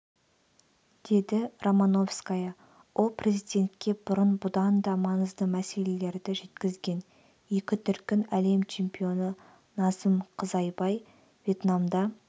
дедіромановская ол президентке бұрын бұдан да маңызды мәселелерді жеткізген екі дүркін әлем чемпионы назым қызайбай вьетнамда